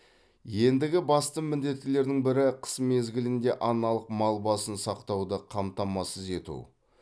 ендігі басты міндеттердің бірі қыс мезгілінде аналық мал басын сақтауды қамтамасыз ету